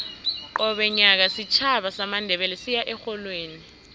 qobe nyaka isitjhaba samandebele siya erholweni